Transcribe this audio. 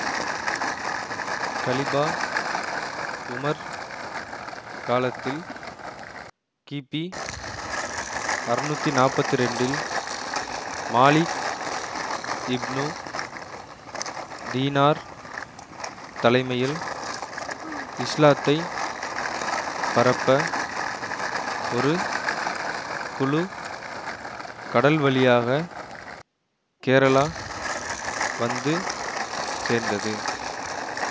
Khalifa உமர் காலத்தில் கிபி அறுநூத்தி நாப்பத்தி இரண்டில் மாலிக் இப்னு தீனார் தலைமையில் இஸ்லாத்தை பரப்ப ஒரு குழு கடல் வழியாக கேரளா வந்து சேர்ந்தது